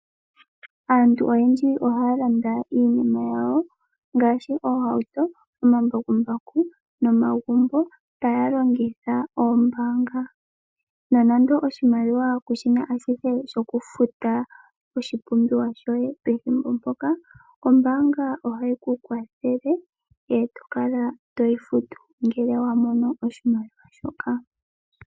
Aantu oyendji ohaya landa iinima yawo ngaashi oohauto, omambakumbaku nomagumbo taya longitha oombaanga. Nonando oshimaliwa kushina ashihe shokufuta oshipumbiwa shoye pethimbo mpoka ombaanga ohayi ku kwathele eto kala toyi futu ngele wa mono oshimaliwa shoka.